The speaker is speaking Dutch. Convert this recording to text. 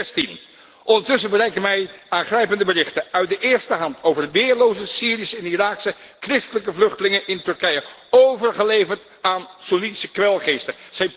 2016! Ondertussen bereiken mij aangrijpende berichten uit de eerste hand over weerloze Syrische en Iraakse christelijke vluchtelingen in Turkije, overgeleverd aan Soennitische kwelgeesten!